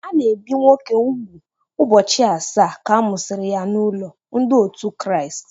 A na-ebi nwoke úgwù ụbọchị asaa ka a mụsịrị ya n'ụlọ Ndị otu Kraịst.